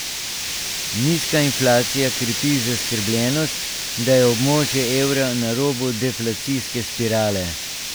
Nizka inflacija krepi zaskrbljenost, da je območje evra na robu deflacijske spirale.